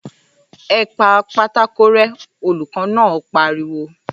‘E̩ pa pátákó ré̩!’ olùkó̩ náà pariwo